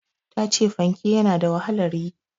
Ta ce fanke ya na da wahalar yi.